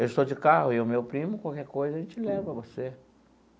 Eu estou de carro eu e o meu primo, qualquer coisa, a gente leva você.